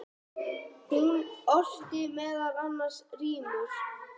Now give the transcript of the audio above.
Hún orti meðal annars rímur.